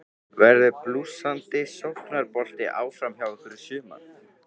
Verður blússandi sóknarbolti áfram hjá ykkur í sumar?